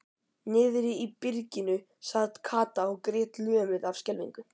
Niðri í byrginu sat Kata og grét lömuð af skelfingu.